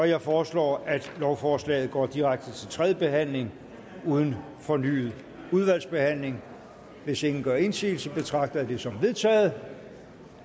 jeg foreslår at lovforslaget går direkte til tredje behandling uden fornyet udvalgsbehandling hvis ingen gør indsigelse betragter jeg det som vedtaget